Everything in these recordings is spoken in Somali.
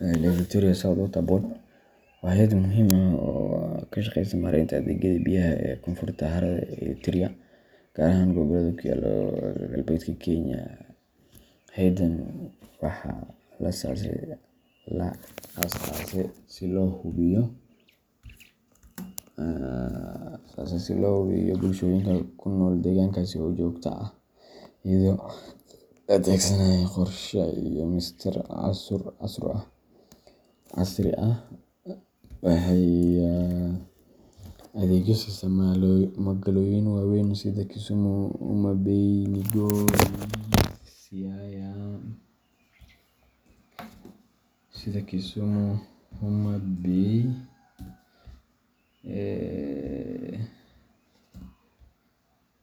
Lake Victoria south water board wa hayad muxiim ah oo kashageysa marenta adegyada biyaha ee konfurta harada eliteria, gaar ahan gobolada kuyala qalbedka kenya, hayadan waxa la asase si lohubiyo bulshoyinka kunol degankasi oo jogta ah iyado laadegsanayo qorsharay iyo mishaar casri ah, waxay adegyo sisa magaloyin wawen sidha Kisumu ,Homabey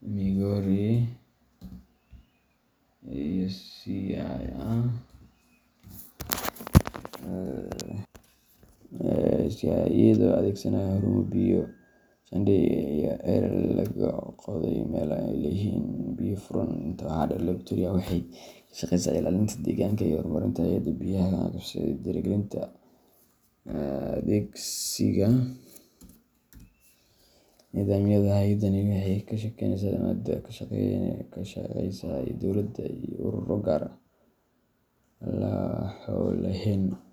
Migori iyo Siaya, iyagi adegsanaya harumo biyo shandeya iyo celal lagagodey melaha an lahen biyo furaan, inta waxa deer Lake Victoria waxay kashageysa ilalinta deganka iyago kormerta hayada biyaha wax kagabashada iyo dirigalinta adEgsiga nidaamyada hayadani waxay kashageysa ama dowlada iyo ururo gaar ah laho leyn.